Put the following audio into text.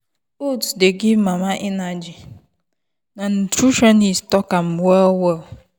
oats dey give mama energy na nutritionist talk am well well.